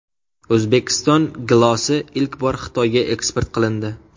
O‘zbekiston gilosi ilk bor Xitoyga eksport qilindi .